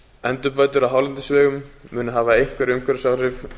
endurbætur á hálendisvegum munu hafa einhver umhverfisáhrif